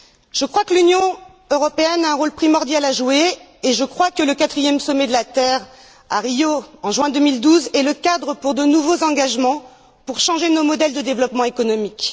Je crois que l'Union européenne a un rôle primordial à jouer et que le quatrième Sommet de la Terre à Rio, en juin 2012, est le cadre idéal pour prendre de nouveaux engagements, pour changer nos modèles de développement économique.